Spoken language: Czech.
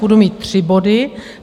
Budu mít tři body.